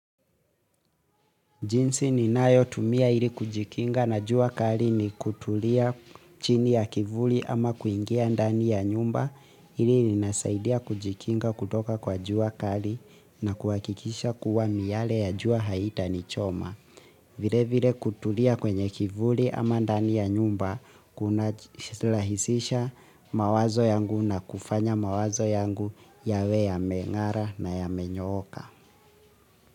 Jinsi ninayo tumia ili kujikinga na jua kali ni kutulia chini ya kivuli ama kuingia ndani ya nyumba hili linasaidia kujikinga kutoka kwa jua kali na kuhakikisha kuwa miyale ya jua haitani choma. Vile vile kutulia kwenye kivuli ama ndani ya nyumba kuna lahisisha mawazo yangu na kufanya mawazo yangu yawe yamengara na yamenyooka.